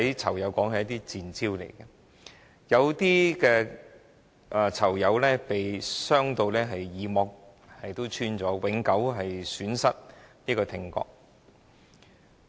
囚友說這些都是"賤招"，有些囚友甚至耳膜破裂，永久損失聽覺。